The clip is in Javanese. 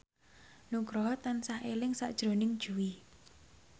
Nugroho tansah eling sakjroning Jui